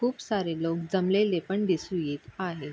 खूप सारे लोक जमलेले पण दिसू येत आहे.